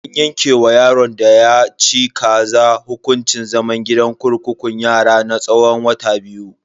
An yanke wa yaron da ya saci kaza hukuncin zaman gidan kurkukun yara na tsawon wata biyu.